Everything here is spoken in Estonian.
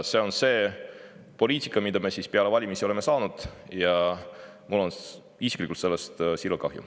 See on see poliitika, mida me siis peale valimisi oleme saanud, ja mul on isiklikult sellest siiralt kahju.